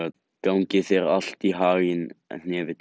Gangi þér allt í haginn, Hnefill.